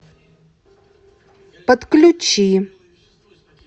подключи